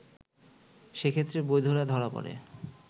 সেক্ষেত্রে বৈধরা ধরা পড়ে